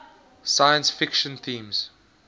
science fiction themes